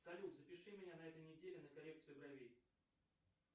салют запиши меня на этой неделе на коррекцию бровей